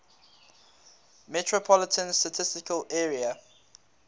metropolitan statistical area